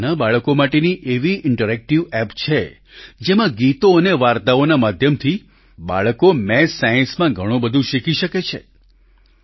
આ નાનાં બાળકો માટેની એવી ઇન્ટરેક્ટિવ એપ છે જેમાં ગીતો અને વાર્તાઓના માધ્યમથી બાળકો મેથ્સસાયન્સમાં ઘણું બધું શીખી શકે છે